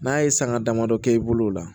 N'a ye sanga damadɔ kɛ i bolo o la